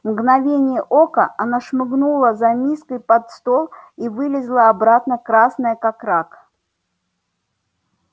в мгновение ока она шмыгнула за миской под стол и вылезла обратно красная как рак